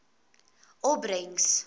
opbrengs